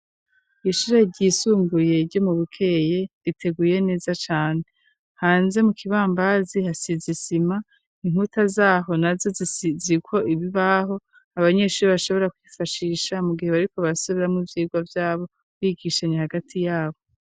Ishure ryisumbuye ryo mu bukeye riteguye neza cane hanze mu kibambazi hasizisima inkuta zaho na zo zi ko ibi baho abanyeshuri bashobora kwifashisha mu gihe bariko basoberamwo ibyigwa vyabo bigishanya hagati yabo.